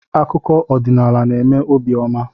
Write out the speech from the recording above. Akụkọ odinaala na-eme óbị ọma